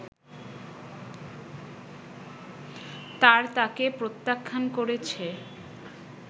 তার তাকে প্রত্যাখ্যান করেছে”